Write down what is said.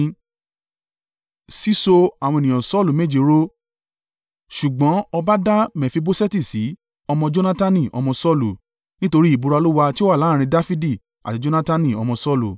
Ṣùgbọ́n ọba dá Mefiboṣeti sí, ọmọ Jonatani, ọmọ Saulu, nítorí ìbúra Olúwa tí ó wà láàrín Dafidi àti Jonatani ọmọ Saulu.